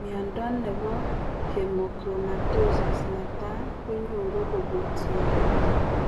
Mnyondo nebo Hemochromatosis netai kenyoru kobun sigiik